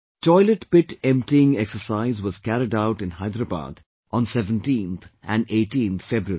Toilet pit emptying exercise was carried out in Hyderabad on 17th and 18th February